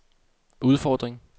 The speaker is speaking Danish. udfordring